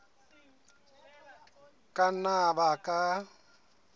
a ka nna a baka